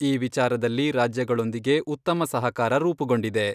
ಈ ವಿಚಾರದಲ್ಲಿ ರಾಜ್ಯಗಳೊಂದಿಗೆ ಉತ್ತಮ ಸಹಕಾರ ರೂಪುಗೊಂಡಿದೆ.